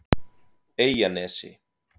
Eyjanesi